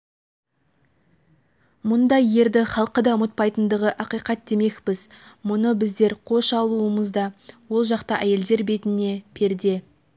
мұндай ерді халқы да ұмытпайтындығы ақиқат демекпіз мұны біздер қош алудамыз ол жақта әйелдер бетіне перде